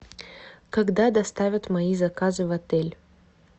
когда доставят мои заказы в отель